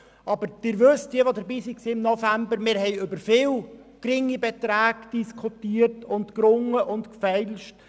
Diejenigen, die im November dabei waren, wissen: Wir haben über viele geringe Beträge diskutiert, gerungen und gefeilscht.